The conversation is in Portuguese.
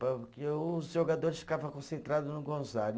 Porque os jogadores ficava concentrado no Gonzaga.